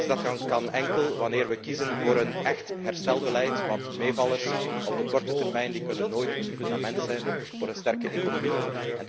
Dat kan enkel wanneer we kiezen voor een echt herstelbeleid, want meevallers op de korte termijn kunnen nooit een fundament zijn voor een sterke economie.